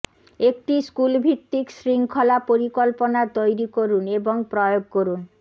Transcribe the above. একটি স্কুলভিত্তিক শৃঙ্খলা পরিকল্পনা তৈরি করুন এবং প্রয়োগ করুন